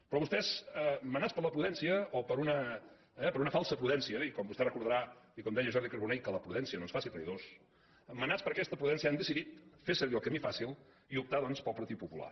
però vostès menats per la prudència o per una falsa prudència i com vostè ho recordarà i com ho deia en jordi carbonell que la prudència no ens faci traïdors menats per aquesta prudència han decidit fer servir el camí fàcil i optar doncs pel partit popular